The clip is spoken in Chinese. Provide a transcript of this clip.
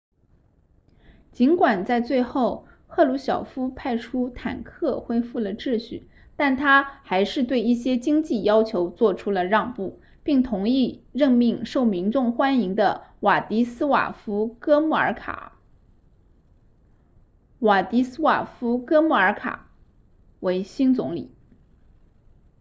尽管在最后赫鲁晓夫派出坦克恢复了秩序但他还是对一些经济要求做出了让步并同意任命受民众欢迎的瓦迪斯瓦夫哥穆尔卡 wladyslaw gomulka 为新总理